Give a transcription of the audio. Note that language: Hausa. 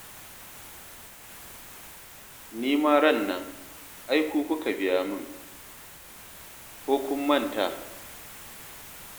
Ni ma ran nan, ai ku kuka biya min. Ko kun manta?